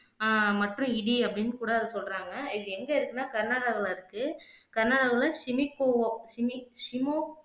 அஹ் மற்றும் இடி அப்படின்னு கூட அத சொல்லுறாங்க இது எங்க இருக்குன்னா கர்நாடகால இருக்கு கர்நாடகாவுல சிமிக்கோ சிமிக் சிமோக்